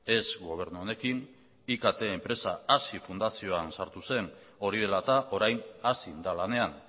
ez gobernu honekin ikt enpresa hazi fundazioan sartu zen hori dela eta orain hazin da lanean